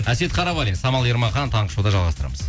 әсет қарабалин самал ермахан таңғы шоуда жалғастырамыз